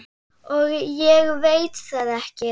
Og ég veit það ekki.